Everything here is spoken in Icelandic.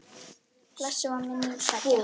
Blessuð veri minning beggja.